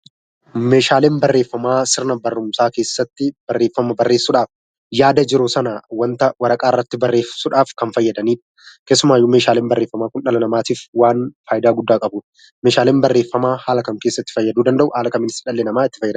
Meeshaaleen barreeffamaa sirna barumsaa keessatti barreeffama barreessudhaaf yaada jiru sanaa wanta waraqaa irratti barreessudhaf kan fayyadanii. Keessumaayyuu meeshaaleen barreeffamaa kun dhala namaatiif waan faayidaa guddaa qabu. Meeshaaleen barreeeffamaa haala kam keessatti fayyaduu danda'u? haala kamiinis dhalli namaa itti fayyadama?